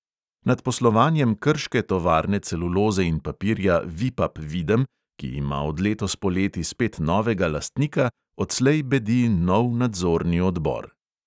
Nad poslovanjem krške tovarne celuloze in papirja vipap videm, ki ima od letos poleti spet novega lastnika, odslej bedi nov nadzorni odbor.